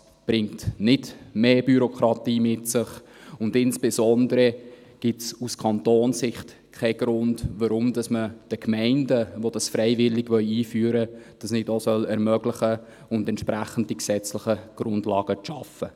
Das bringt nicht mehr Bürokratie mit sich, und insbesondere gibt es aus Kantonssicht keinen Grund, weshalb man den Gemeinden, welche das freiwillig einführen wollen, das nicht ermöglichen soll und entsprechend die gesetzlichen Grundlagen schafft.